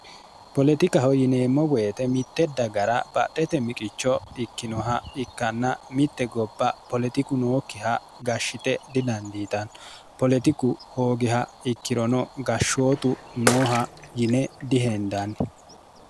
polexikaho yineemmo woyite mitte dagara baxete miqicho ikkinoha ikkanna mitte gobpha polexiku nookkiha gashshite didandiitanno polexiku hoogeha ikkirono gashshootu nooha yine diheendanni